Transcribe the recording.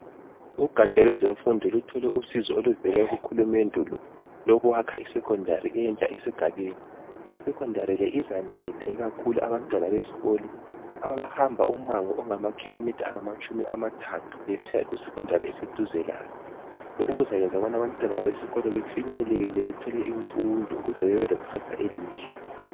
Ugatsha lwezemfundo luthole usizo oluvela kuhulumende olokwakha iSecondary entsha esigabeni. Isecondary le izanceda ikakhulu abantwana besikolo abahamba ummango ongamakhilomitha angamatshumi amathathu besiya ku secondary eseduze labo. Lokhu kuzayenza abanye abantwana besikolo befinyelele bethole imfundo ukuze bebelekusasa elihle.